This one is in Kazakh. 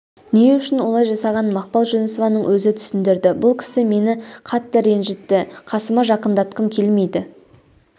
не үшін олай жасағанын мақпал жүнісованың өзі түсіндірді бұл кісі мені қатты ренжітті қасыма жақындатқым келмейді